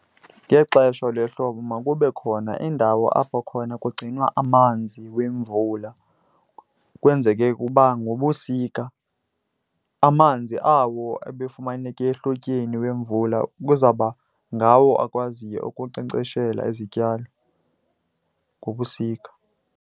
Ngexesha lehlobo makube khona indawo apho khona kugcinwa amanzi wemvula, kwenzeke ukuba ngobusika amanzi awo ebefumaneke ehlotyeni wemvula kuzawuba ngawo akwaziyo ukunkcenkceshela izityalo ngobusika.